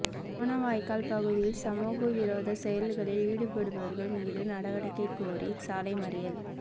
கோணவாய்க்கால் பகுதியில் சமூக விரோத செயல்களில் ஈடுபடுபவர்கள் மீது நடவடிக்கை கோரி சாலை மறியல்